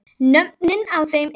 Nöfnin á þeim eru